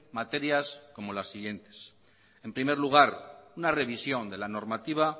materias como las siguientes en primer lugar una revisión de la normativa